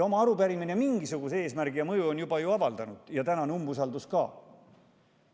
Ent arupärimine on juba mingisuguse eesmärgi ja mõju avaldanud, tänane umbusaldus samuti.